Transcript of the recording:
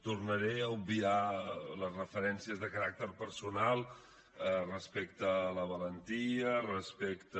tornaré a obviar les referencies de caràcter personal respecte a la valentia respecte